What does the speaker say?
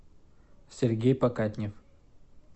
сергей покатнев